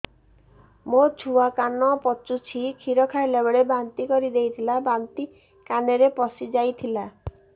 ମୋ ଛୁଆ କାନ ପଚୁଛି କ୍ଷୀର ଖାଇଲାବେଳେ ବାନ୍ତି କରି ଦେଇଥିଲା ବାନ୍ତି କାନରେ ପଶିଯାଇ ଥିଲା